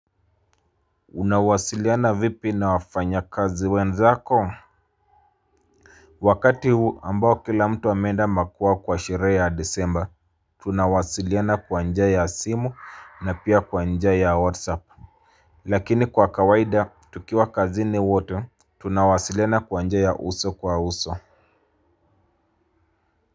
Unawasiliana vipi na wafanya kazi wenzako wakati huu ambao kila mtu ameenda makwao kwa sherehe ya disemba tunawasiliana kwa njia ya simu na pia kwa njia ya whatsapp lakini kwa kawaida tukiwa kazi ni wote tunawasiliana kwa njia ya uso kwa uso.